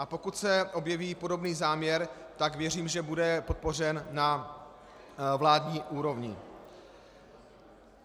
A pokud se objeví podobný záměr, tak věřím, že bude podpořen na vládní úrovni.